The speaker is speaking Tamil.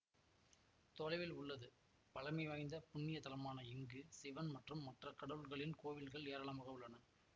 தொலைவில் உள்ளது பழமை வாய்ந்த புண்ணிய தலமான இங்கு சிவன் மற்றும் மற்ற கடவுள்களின் கோவில்கள் ஏராளமாக உள்ளன